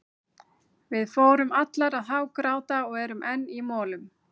Við fórum allar að hágráta og erum enn í molum.